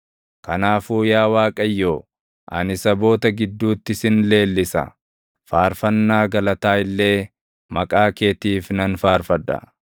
Kanaafuu yaa Waaqayyo, ani saboota gidduutti sin leellisa; faarfannaa galataa illee maqaa keetiif nan faarfadha.